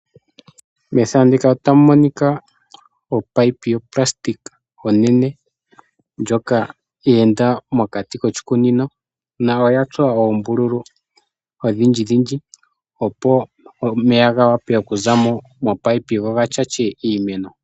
Methano ndika otamu monika o pipe yoplastic onene ndjoka ya enda mokati koshikunino na oya tsuwa oombululu odhindjidhindji opo omeya ga wape okuza mo pipe go ga shashe iimeno.